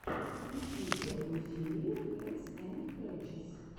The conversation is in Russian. включи первую серию катсэндскрэтчес